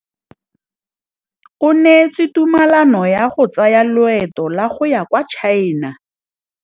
O neetswe tumalanô ya go tsaya loetô la go ya kwa China.